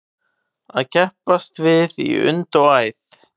Að keppast við í und og æð